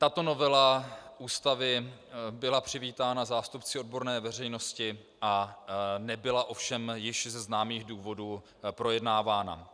Tato novela Ústavy byla přivítána zástupci odborné veřejnosti a nebyla ovšem z již známých důvodů projednávána.